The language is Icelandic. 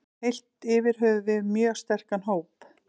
Heilt yfir höfum við mjög sterkan hóp.